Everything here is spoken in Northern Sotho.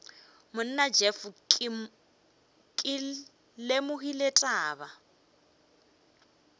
monna jeff ke lemogile taba